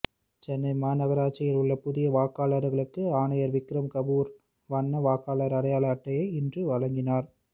சென்னை மாநகராட்சியில் உள்ள புதிய வாக்காளர்களுக்கு ஆணையர் விக்ரம் கபூர் வண்ண வாக்காளர் அடையாள அட்டையை இன்று வழங்கினார்